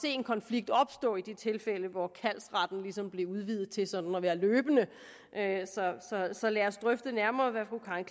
en konflikt opstå i det tilfælde hvor kaldsretten blev udvidet til sådan at være løbende så lad os drøfte nærmere hvad fru karen